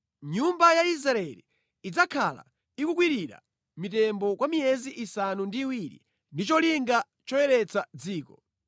“Nyumba ya Israeli idzakhala ikukwirira mitembo kwa miyezi isanu ndi iwiri ndi cholinga choyeretsa dziko.